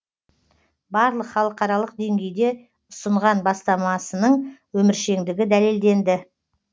барлық халықаралық деңгейде ұсынған бастамасының өміршеңдігі дәлелденді